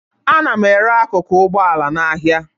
Ana m ere akụkụ ụgbọala n'ahịa